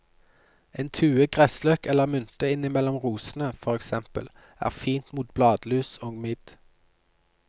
En tue gressløk eller mynte innimellom rosene, for eksempel, er fint mot bladlus og midd.